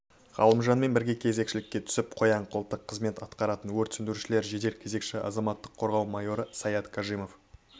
ғалымжанмен бірге кезекшілікке түсіп қоян-қолтық қызмет атқаратын өрт сөндірушілер жедел кезекші азаматтық қорғау майоры саят кажимов